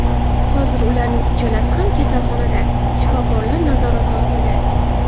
Hozir ularning uchalasi ham kasalxonada, shifokorlar nazorati ostida.